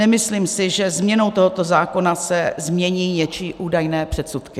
Nemyslím si, že změnou tohoto zákona se změní něčí údajné předsudky.